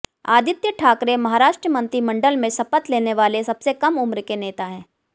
आदित्य ठाकरे महाराष्ट्र मंत्रिमंडल में शपथ लेने वाले सबसे कम उम्र के नेता हैं